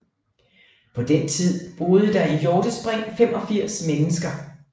På den tid boede der i Hjortespring 85 mennesker